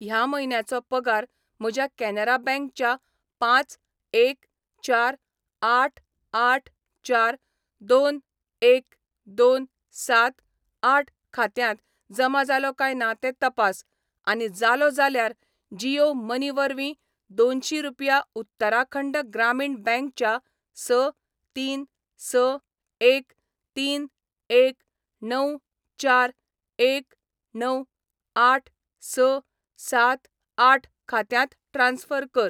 ह्या म्हयन्याचो पगार म्हज्या कॅनरा बैंक च्या पांच एक चार आठ आठ चार दोन एक दोन सात आठ खात्यांत जमा जालो काय ना तें तपास, आनी जालो जाल्यार जीयो मनी वरवीं दोनशी रुपया उत्तराखंड ग्रामीण बँक च्या स तीन स एक तीन एक णव चार एक णव आठ स सात आठ खात्यांत ट्रान्स्फर कर.